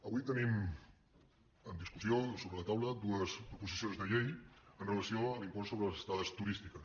avui tenim en discussió sobre la taula dues proposicions de llei amb relació a l’impost sobre les estades turístiques